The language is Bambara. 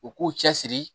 U k'u cɛ siri